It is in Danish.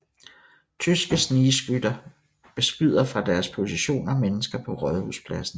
Tyske snigskytter beskyder fra deres positioner mennesker på Rådhuspladsen